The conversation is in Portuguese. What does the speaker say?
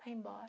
Vai embora.